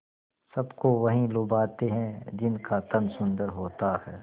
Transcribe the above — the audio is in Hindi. सबको वही लुभाते हैं जिनका तन सुंदर होता है